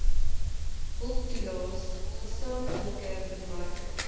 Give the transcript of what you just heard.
hulptoelaes gesamentlike bemarking